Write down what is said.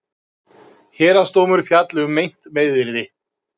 Héraðsdómur fjalli um meint meiðyrði